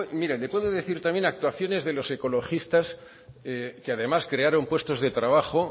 mire le puedo decir también actuaciones de los ecologistas que además crearon puestos de trabajo